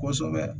Kosɛbɛ